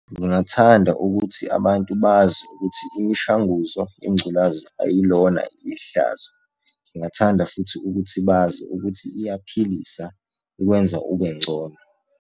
Ngingathanda ukuthi abantu bazi ukuthi imishanguzo yengculaza ayilona ihlazo. Ngingathanda futhi ukuthi bazi ukuthi iyaphilisa ikwenza ube ngcono.